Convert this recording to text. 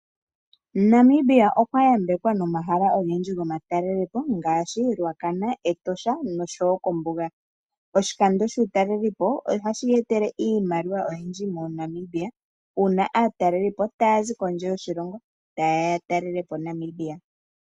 Namibia okwa yambekwa nomahala ogendji gomatalelepo ngaashi Ruacana, Etosha noshowo ombuga. Oshikondo shUutalelipo otashi e tele iimaliwa oyindji moNamibia uuna aatelelipo taya zi kondje yiilongo taye ya okutalela po Namibia.